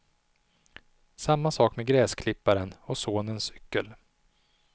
Samma sak med gräsklipparen och sonens cykel.